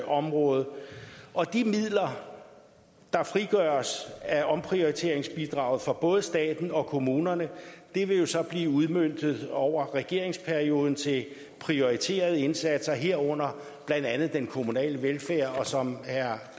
område og de midler der frigøres af omprioriteringsbidraget for både staten og kommunerne vil blive udmøntet over regeringsperioden til prioriterede indsatser herunder blandt andet den kommunale velfærd og som herre